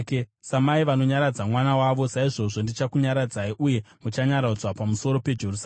Samai vanonyaradza mwana wavo, saizvozvo ndichakunyaradzai; uye muchanyaradzwa pamusoro peJerusarema.”